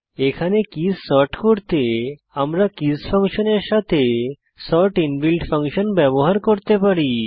এখানে keys sort করতে আমরা কীস ফাংশনের সাথে সর্ট ইনবিল্ট ফাংশন ব্যবহার করতে পারি